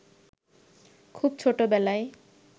খুব ছোটবেলায়